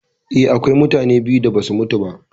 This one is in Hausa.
Eh, akwai mutane biyu da basu mutu ba.